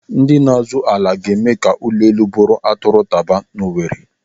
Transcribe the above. Ndị na-azụ ala ga-eme ka ụlọ elu bụrụ atụrụ taba n'Owere.